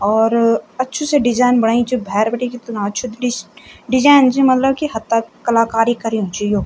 और अच्छू सी डिजाईन बण्यु च भैर बिटिकी इतना अछू डिस्क डिजाईन च मलब की हतक् कलाकारी कर्युं च यो।